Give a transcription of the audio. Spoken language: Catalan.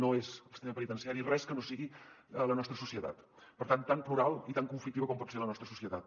no és el sistema penitenciari res que no sigui la nostra societat per tant tan plural i tan conflictiva com pot ser la nostra societat